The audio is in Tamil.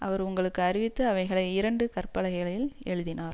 அவர் உங்களுக்கு அறிவித்து அவைகளை இரண்டு கற்பலகைகளில் எழுதினார்